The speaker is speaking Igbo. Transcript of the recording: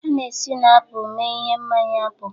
A na-esi na apụl mee ihe mmanya apụl